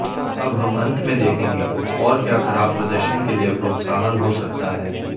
अब हम अंत में देखेंगे और क्या खराब प्रदर्शन के लिए प्रोत्साहन हो सकता है